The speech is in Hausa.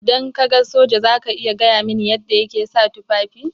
Idan ka ga soja za ka iya gaya mini yadda yake sa tufafi.